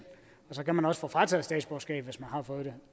så kan man også få frataget statsborgerskabet har fået det